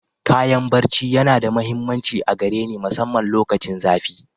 Kayan ɓarce na da mahimmanci a gare ni masamman lokacin zafi.